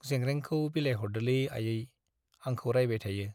जेंग्रेंखौ बिलाइहरदोलै आयै, आंखौ रायबाय थायो।